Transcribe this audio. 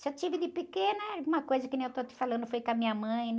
Se eu tive de pequena, alguma coisa que nem eu estou te falando foi com a minha mãe, né?